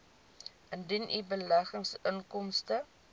indien u beleggingsinkomste